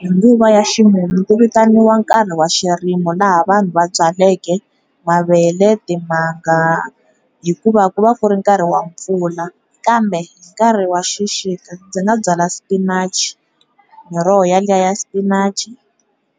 Hi nguva ya ximumu ku vitaniwa nkarhi wa xirimo laha vanhu va byaleke mavele, timanga hikuva ku va ku ri nkarhi wa mpfula kambe hi nkarhi wa xixika dzi nga byala Spinach, miroho yaliya Spinach-i,